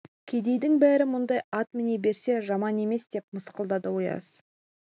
кедейдің бәрі мұндай ат міне берсе жаман емес деп мысқылдады ояз